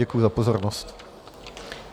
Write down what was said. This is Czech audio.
Děkuji za pozornost.